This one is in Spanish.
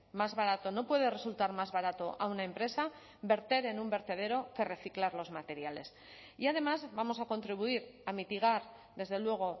más barato no puede resultar más barato a una empresa verter en un vertedero que reciclar los materiales y además vamos a contribuir a mitigar desde luego